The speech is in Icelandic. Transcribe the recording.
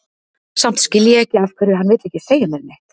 Samt skil ég ekki af hverju hann vill ekki segja mér neitt.